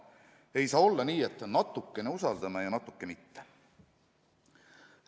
Ei saa olla nii, et natukene usaldame ja natuke mitte.